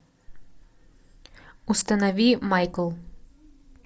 установи майкл